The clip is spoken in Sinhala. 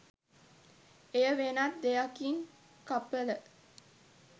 එය වෙනත් දෙයකින් කපල